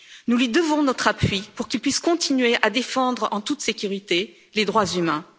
Nous lui devons notre appui pour qu'il puisse continuer à défendre en toute sécurité les droits humains.